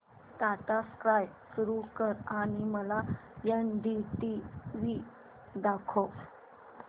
Tata sky सुरू कर आणि मला एनडीटीव्ही दाखव